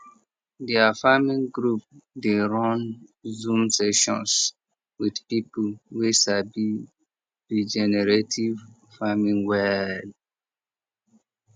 their farming group dey run zoom sessions with people wey sabi regenerative farming well